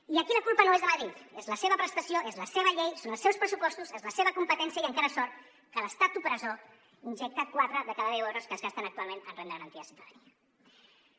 i aquí la culpa no és de madrid és la seva prestació és la seva llei són els seus pressupostos és la seva competència i encara sort que l’estat opressor injecta quatre de cada deu euros que es gasten actualment en renda garantida de ciutadania